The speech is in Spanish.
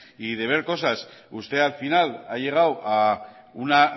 y de ver cosas usted al final ha llegado a una